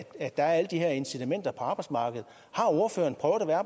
er alle de her incitamenter på arbejdsmarkedet